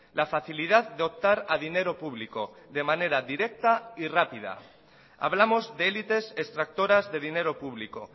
la facilidad de optar a dinero público de manera directa y rápida hablamos de élites extractoras de dinero público